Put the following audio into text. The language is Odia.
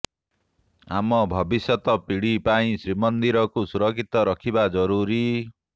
ଆମ ଭବିଷ୍ୟତ ପିଢ଼ି ପାଇଁ ଶ୍ରୀମନ୍ଦିରକୁ ସୁରକ୍ଷିତ ରଖିବା ଜରୁରୀ